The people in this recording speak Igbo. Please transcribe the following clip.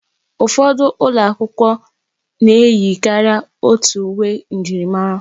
Ụfọdụ ụlọ akwụkwọ na-eyi karịa otu uwe njirimara.